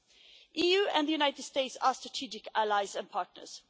The EU and the United States are strategic allies and partners.